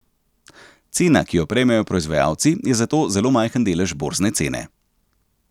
Cena, ki jo prejmejo proizvajalci je zato zelo majhen delež borzne cene.